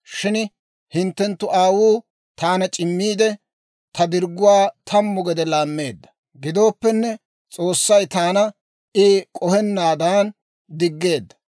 shin hinttenttu aawuu taana c'immiidde, ta dirgguwaa tammu gede laammeedda. Gidooppenne S'oossay taana I k'ohenaadan diggeedda.